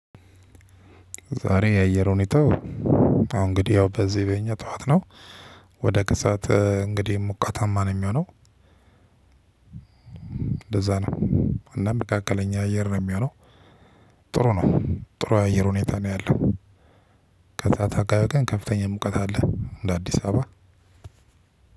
ዛሬ የአየር ሁኔታ አሁን እንግዲህ ያው በዚህ በእኛ ጠዋት ነው። ወደ ከሰአት እንግዲህ ሙቀታማ ነው የሚሆነው እንደዛ ነው፤ እና መካከለኛ አየር ነው የሚሆነው ጥሩ ነው ጥሩ የአየር ሁኔታ ነው ያለው ከሰአት አካባቢ ላይ ከፍተኛ ሙቀት አለ እንደ አዲስ አበባ